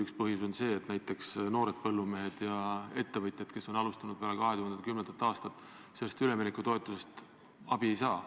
Üks põhjus on see, et noored põllumehed ja ettevõtjad, kes on alustanud peale 2010. aastat, sellest üleminekutoetusest abi ei saa.